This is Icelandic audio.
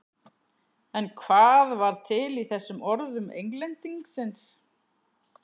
En hvað var til í þessum orðum Englendingsins?